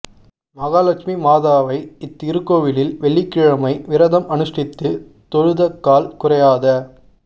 மகாலட்சுமி மாதாவை இத்திருக்கோயிலில் வெள்ளிக் கிழமை விரதம் அனுஷ்டித்து தொழுதக்கால் குறையாத